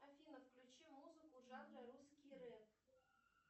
афина включи музыку жанра русский рэп